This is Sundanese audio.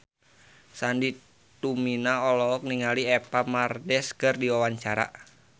Sandy Tumiwa olohok ningali Eva Mendes keur diwawancara